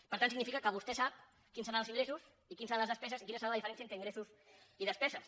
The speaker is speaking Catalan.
per tant significa que vostè sap quins seran els ingressos i quines seran les despeses i quina serà la diferència entre ingressos i despeses